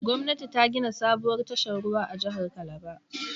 Gwamnati ta gina sabuwar tashar ruwa a jihar Calabar.